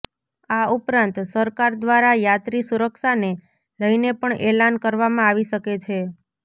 આ ઉપરાંત સરકાર દ્વારા યાત્રી સુરક્ષાને લઈને પણ એલાન કરવામાં આવી શકે છે